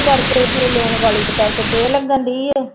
ਕਰਕੇ ਫਿਰ ਲੂਣ ਵਾਲੀ ਦੇ ਕਰਕੇ ਥੇਹ ਲੱਗਣਡੀ ਹੈ।